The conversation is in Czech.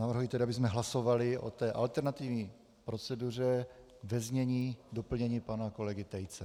Navrhuji tedy, abychom hlasovali o té alternativní proceduře ve znění doplnění pana kolegy Tejce.